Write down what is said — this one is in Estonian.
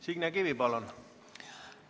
Signe Kivi, palun!